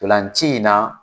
Ntolanci in na